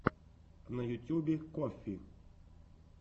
на ютьюбе коффи